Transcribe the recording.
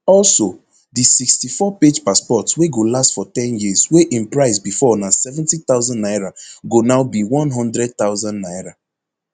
also di sixty-fourpage passport wey go last for ten years wey im price bifor na seventy thousand naira go now be one hundred thousand naira